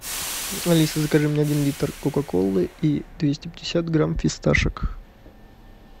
алиса закажи мне один литр кока колы и двести пятьдесят грамм фисташек